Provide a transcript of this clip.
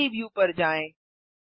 3डी व्यू पर जाएँ